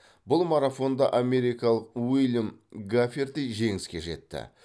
бұл марафонда америкалық уильям гаферти жеңіске жетті